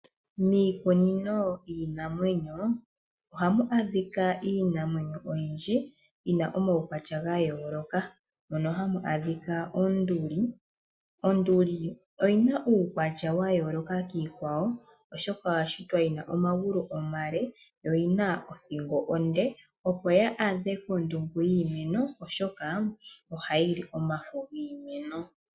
Miikunino yiinamwenyo ohamu adhika iinamwenyo oyindji yi na omaukwatya ga yooloka mono hamu adhika oonduli. Oonduli oyi na uukwatya wa yooloka kiikwawo, oshoka oya shitwa yi na omagulu omale, yo yi na othingo onde, opo yaadhe kondungu yiimeno oshoka ohayi li omafo yiimeno.